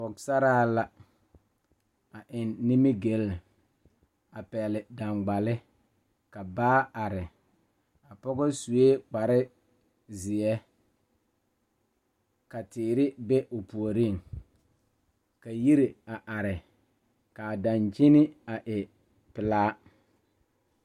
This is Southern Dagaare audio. Pɔgeba are ka bamine zeŋ ka gangaare biŋ kaŋa zaa toɔ puli kyɛ ka ba zage ba nuure kaa do saa kyɛ ka ba gbɛɛ meŋ gaa.